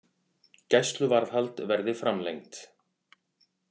Gæsluvarðhald verði framlengt